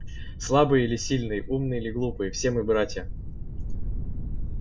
слабые или сильные умные или глупые все мы братья